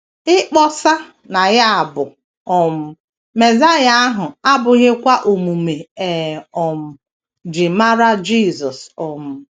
Ịkpọsa na ya bụ um Mesaịa ahụ abụghịkwa omume e um ji mara Jisọs. um